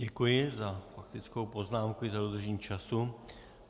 Děkuji za faktickou poznámku i za dodržení času.